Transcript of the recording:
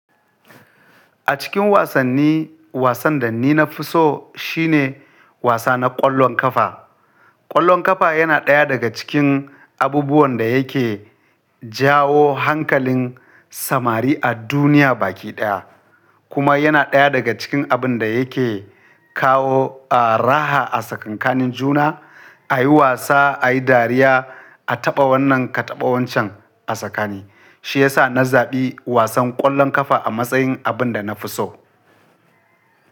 A cikin wasanni, wasan da ni na fi so shine wasa na ƙwallon ƙafa. Ƙwallon ƙafa yana ɗaya daga cikin abubuwan da yake jawo hankalin samari a duniya baki ɗaya, kuma yana ɗaya daga cikin abin da yake kawo, ah, raha a tsakankanin juna, a yi wasa, a yi dariya, a taɓa wannan ka taɓa wancen a tsakani. Shi ya sa na zaɓi wasan ƙwallon ƙafa a matsayin abin da na fi so.